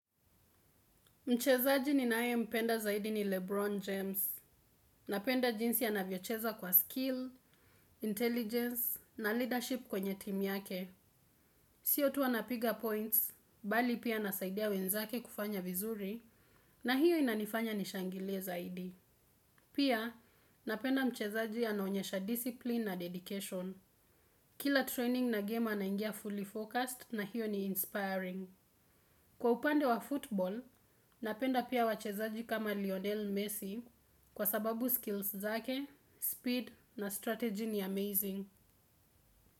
Mchezaji ninae mpenda zaidi ni Lebron James. Napenda jinsi anavyocheza kwa skill, intelligence na leadership kwenye team yake. Sio tu ana piga points, bali pia anasaidia wenzake kufanya vizuri na hiyo inanifanya nishangilie zaidi. Pia, napenda mchezaji anaonyesha discipline na dedication. Kila training na game anaingia fully focused na hiyo ni inspiring. Kwa upande wa football, napenda pia wachezaji kama Lionel Messi kwa sababu skills zake, speed na strategy ni amazing.